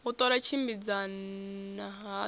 u ṱola u tshimbidzana hadzo